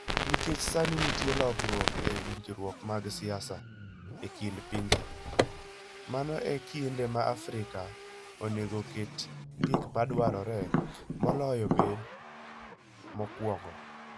Nikech sani nitie lokruok e winjruok mag siasa e kind pinje, mano e kinde ma Afrika onego oket gik madwarore moloyo obed mokwongo.